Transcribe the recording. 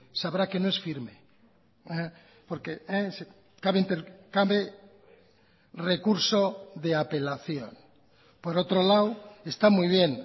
sabrá que no es firme porque cabe recurso de apelación por otro lado está muy bien